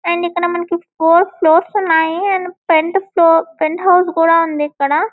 And ఇక్కడ మనకి four floors ఉన్నాయి and pent floor penthouse కూడా ఉంది ఇక్కడ.